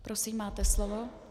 Prosím, máte slovo.